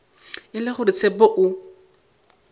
e le gore tshepo o